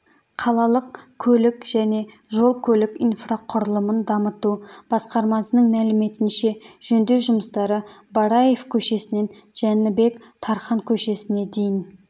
қалалық көлік және жол-көлік инфрақұрылымын дамыту басқармасының мәліметінше жөндеу жұмыстары бараев көшесінен жәнібек тархан көшесіне дейін